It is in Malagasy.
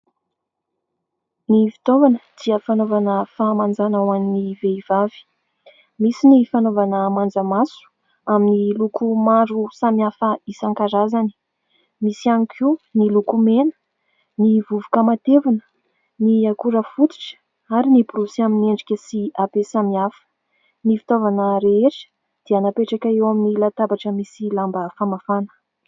Ny fitaovana dia fanaovana fahamanjana ho an'ny vehivavy. Misy ny fanaovana manjamaso amin'ny loko maro samihafa isan-karazany, misy ihany koa ny lokomena, ny vovoka matevina, ny akora fototra ary ny borosy amin'ny endrika sy habe samihafa. Ny fitaovana rehetra dia napetraka eo amin'ny latabatra misy lamba famafana.